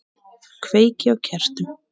Kveiki á kertum.